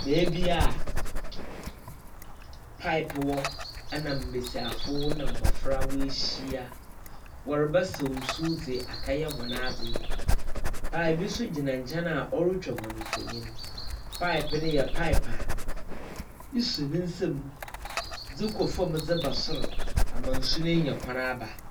Baabi a paep wɔ ɛna mmɛsiafo na mmofra wahyia. Wɔrebɛsaw nsu de akɛyɛ wɔn ade. Pae bi nso gyina nkyɛn a ɔretwa wɔn mfɔnyin. Paep ne yɛ paep a, esɔ ne nsɛm de kɔ fɔm de ba soro, ama nsu no anya kwan aba.